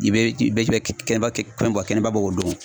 I bɛ i bɛ kɛnɛba kɛ, kɛnɛba bɔ o don.